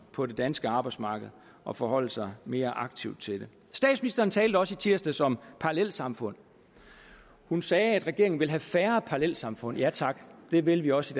på det danske arbejdsmarked og forholde sig mere aktivt til det statsministeren talte også i tirsdags om parallelsamfund hun sagde at regeringen vil have færre parallelsamfund ja tak det vil vi også